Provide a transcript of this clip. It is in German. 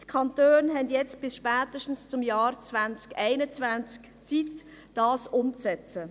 Die Kantone haben bis spätestens zum Jahr 2021 Zeit, um diese umzusetzen.